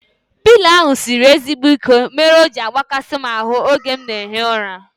Pịlo ahu sịrị ezigbo ike mere o ji agbakasi m ahu oge m na ehi ụra